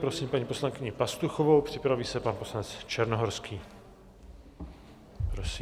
Prosím paní poslankyni Pastuchovou, připraví se pan poslanec Černohorský.